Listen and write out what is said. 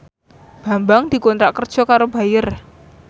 Bambang dikontrak kerja karo Bayer